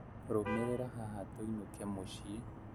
Rũmĩrĩra haha tũinũke mũciĩ